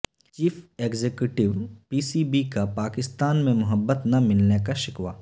chief executive P C B کا پاکستان میں محبت نہ ملنے کا شکوہ